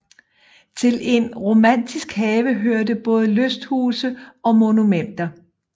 Til en romantisk have hørte både lysthuse og monumenter